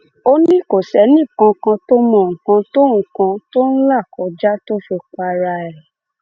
ó ní kò sẹnìkànkàn tó mọ nǹkan tó nǹkan tó ń là kọjá tó fi para rẹ